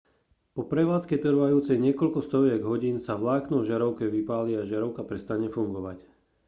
po prevádzke trvajúcej niekoľko stoviek hodín sa vlákno v žiarovke vypáli a žiarovka prestane fungovať